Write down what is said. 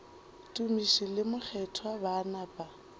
tumiši le mokgethwa ba napa